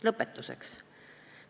Lõpetuseks.